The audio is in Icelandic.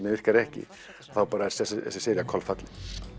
virkar ekki þá bara er þessi sería kolfallin